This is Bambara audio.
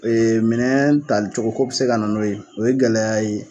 O ye minɛn talicogoko bɛ se ka n'o ye o ye gɛlɛya ye.